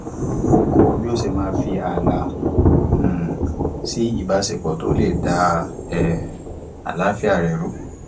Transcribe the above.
ó kó bí ó ṣe máa fi ààlà um sí ìbáṣepọ tó le dá um àlááfíà rẹ rú